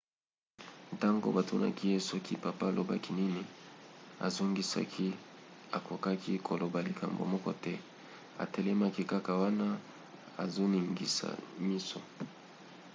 ntango batunaki ye soki papa alobaki nini azongisaki akokaki koloba likambo moko te - atelemaki kaka wana azoningisa miso.